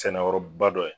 Sɛnɛyɔrɔba dɔ ye